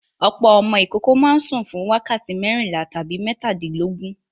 Ọ̀pọ̀ ọmọ ìkókó máa ń sùn fún wákàtí mẹ́rìnlá tabi mẹ́tàdílógún.